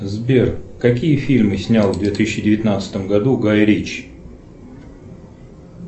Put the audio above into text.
сбер какие фильмы снял в две тысячи девятнадцатом году гай ричи